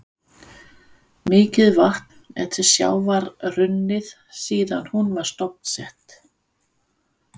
Mikið vatn er til sjávar runnið síðan hún var stofnsett.